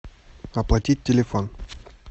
оплатить телефон